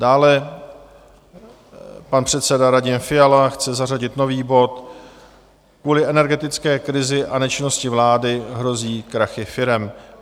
Dále pan předseda Radim Fiala chce zařadit nový bod Kvůli energetické krizi a nečinnosti vlády hrozí krachy firem.